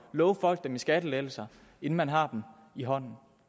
love folk dem i skattelettelser inden man har dem i hånden